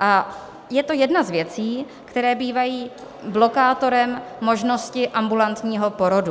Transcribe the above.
a je to jedna z věcí, které bývají blokátorem možnosti ambulantního porodu.